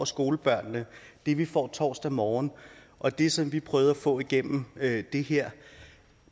skolebørnene det vi får torsdag morgen og det som vi prøvede at få igennem det her